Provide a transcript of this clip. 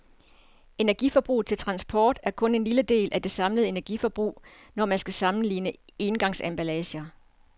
Energiforbruget til transport er kun en lille del af det samlede energiforbrug, når man skal sammenligne engangsemballager.